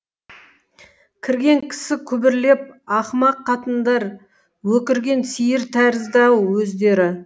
кірген кісі күбірлеп ақымақ қатындар өкірген сиыр тәрізді ау өздері